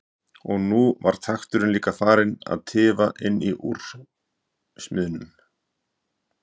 Og nú var takturinn líka farinn að tifa inni í úrsmiðnum.